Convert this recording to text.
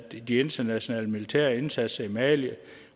de internationale militære indsatser i mali